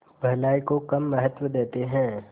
भलाई को कम महत्व देते हैं